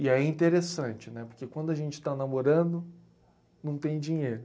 E aí é interessante, né? Porque quando a gente está namorando, não tem dinheiro.